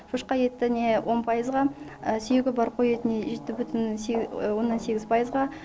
шошқа етіне он пайызға сүйегі бар қой етіне жеті бүтін оннан сегіз пайызға